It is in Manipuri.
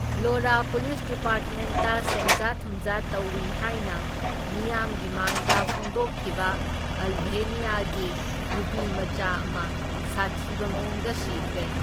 ꯚ꯭ꯂꯣꯔꯥ ꯄꯨꯂꯤꯁ ꯗꯤꯄꯥꯔꯠꯃꯦꯟꯠꯇ ꯁꯦꯟꯖꯥ ꯊꯨꯝꯖꯥ ꯇꯧꯢ ꯍꯥꯢꯅ ꯃꯤꯌꯥꯝꯒꯤ ꯃꯥꯡꯗ ꯐꯣꯡꯗꯣꯛꯈꯤꯕ ꯑꯜꯚꯦꯅꯤꯌꯥꯒꯤ ꯅꯨꯄꯤꯃꯆꯥ ꯑꯃ ꯁꯥꯊꯤꯕ ꯃꯑꯣꯡꯗ ꯁꯤꯈ꯭ꯔꯦ꯫